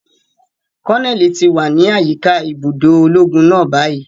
Koneli ti wa ni ayika ibudo ologun náà bayi.